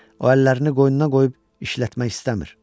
O əllərini qoynuna qoyub işlətmək istəmir.